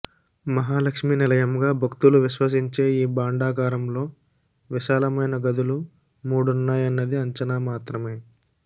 మహాలక్ష్మి నిలయంగా భక్తులు విశ్వసించే ఈ భాండగారంలో విశాలమైన గదులు మూడున్నాయన్నది అంచనా మాత్రమే